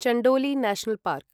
Chandoli national park